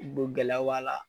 U don gɛlɛw b'a la